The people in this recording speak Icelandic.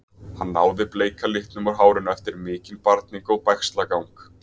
Hann náði bleika litnum úr hárinu eftir mikinn barning og bægslagang.